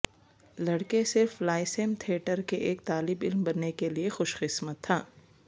لڑکے صرف lyceum theatre کے ایک طالب علم بننے کے لئے خوش قسمت تھا